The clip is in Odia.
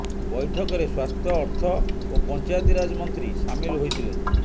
ବୈଠକରେ ସ୍ୱାସ୍ଥ୍ୟ ଅର୍ଥ ଓ ପଞ୍ଚାୟତିରାଜ ମନ୍ତ୍ରୀ ସାମିଲ ହୋଇଥିଲେ